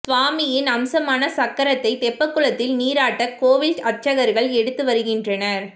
சுவாமியின் அம்சமான சக்கரத்தை தெப்பக்குளத்தில் நீராட்ட கோவில் அர்ச்சகர்கள் எடுத்து வருகின்றனர்